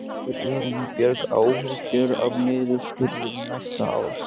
Hefur Elín Björg áhyggjur af niðurskurði næsta árs?